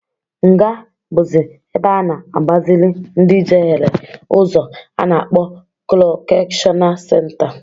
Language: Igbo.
Nga bụzị ebe a na-agbazịlị ndị jehere ụzọ a na-akpọ kọrekshọnal senta.